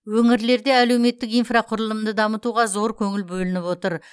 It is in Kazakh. өңірлерде әлеуметтік инфрақұрылымды дамытуға зор көңіл бөлініп отыр